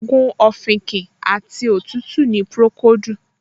Ògùn òfìnkìn àti òtútù ni Pùròkóòdù